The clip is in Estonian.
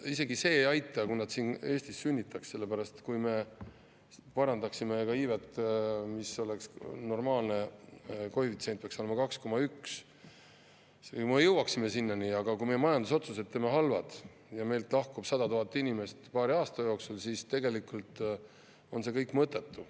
Isegi see ei aita, kui nad siin Eestis sünnitaks, sellepärast et kui me parandaksime iivet, sest normaalne koefitsient peaks olema 2,1, jõuaksime sinnani, aga kui me majandusotsused teeme halvad ja meilt lahkub 100 000 inimest paari aasta jooksul, siis tegelikult on see kõik mõttetu.